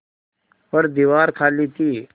पर दीवार खाली थी